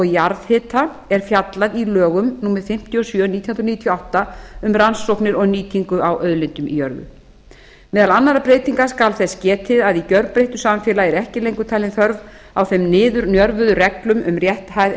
jarðhita er fjallað í lögum númer fimmtíu og sjö nítján hundruð níutíu og átta um rannsóknir og nýtingu á auðlindum í jörðu meðal annarra breytinga skal þess getið að í gerbreyttu samfélagi er ekki lengur talin þörf á þeim niðurnjörvuðu reglum um rétthæð